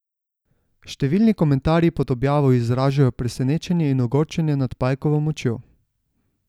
Številni komentarji pod objavo izražajo presenečenje in ogorčenje nad pajkovo močjo.